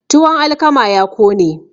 tuwon alkama ya kone